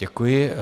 Děkuji.